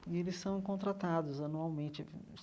E eles são contratados anualmente.